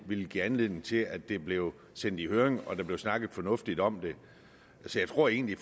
villet give anledning til at det blev sendt i høring og at der blev snakket fornuftigt om det så jeg tror egentlig